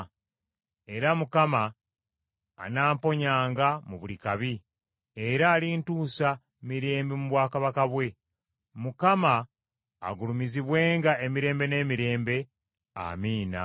Era Mukama anamponyanga mu buli kabi, era alintuusa mirembe mu bwakabaka bwe. Mukama agulumizibwenga emirembe n’emirembe. Amiina.